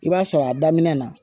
I b'a sɔrɔ a daminɛ na